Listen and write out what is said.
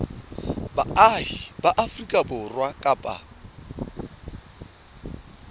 baahi ba afrika borwa kapa